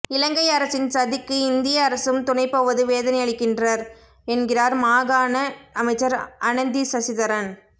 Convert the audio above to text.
இலங்கை அரசின் சதிக்கு இந்திய அரசும் துணைபோவது வேதனையளிக்கின்றர் என்கிறார் மாகாண அமைச்சர் அனந்தி சசிதரன்